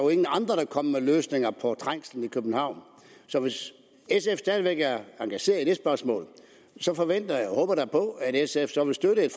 kom med løsninger på trængslen i københavn så hvis sf stadig væk er engageret i det spørgsmål forventer jeg og håber da på at sf så vil støtte et